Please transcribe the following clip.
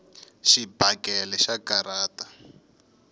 xibakele xa karhata